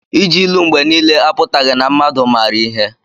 Iji ilu mgbe niile apụtaghị na mmadụ maara ihe.